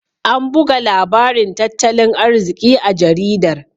An buga labarin tattalin arziki a jaridar.